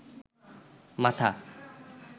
মাথা